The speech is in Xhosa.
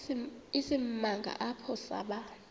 isimanga apho saba